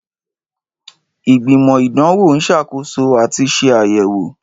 Ìgbìmọ̀ Ìdánwò ń ṣàkóso àti ṣe àyẹ̀wò.